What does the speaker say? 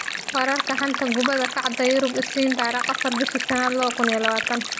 Wararka xanta kubada cagta Yurub Isniin 04.05.2020: Rakitic, Pogba, Ndombele, Pedro, Mkhitaryan, Bakayoko